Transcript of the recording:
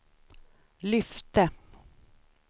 lyfte